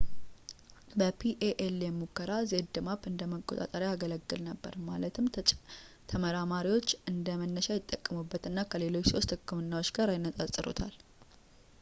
በpalm ሙከራ፣ zmapp እንደ መቆጣጠሪያ ያገለግል ነበር፣ ማለት ተመራማሪዎች እንደ መነሻ ይጠቀሙበት እና ከሌሎች ሶስት ህክምናዎች ጋር ያነጻጽሩታል